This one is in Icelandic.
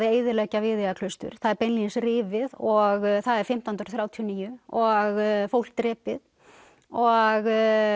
eyðileggja Viðeyjarklaustur það er beinlínis rifið og það er fimmtán hundruð þrjátíu og níu og fólk drepið og